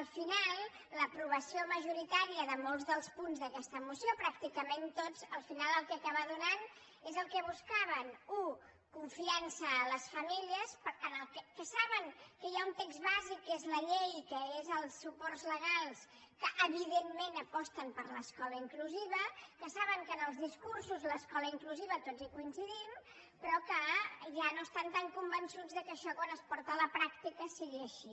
al final l’aprovació majoritària de molts dels punts d’aquesta moció pràcticament tots al final el que acaba donant és el que buscaven u confiança a les famílies que saben que hi ha un text bàsic que és la llei que és els suports legals que evidentment aposten per l’escola inclusiva que saben que en els discursos l’escola inclusiva tots hi coincidim però que ja no estan tan convençuts que això quan es porta a la pràctica sigui així